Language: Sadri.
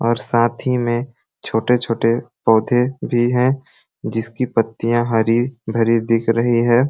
और साथ ही में छोटे-छोटे पौधे भी हैं जिस की पत्तियां हरी-भरी दिख रही है।